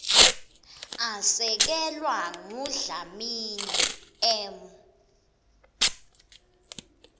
asekelwa ngudlamini m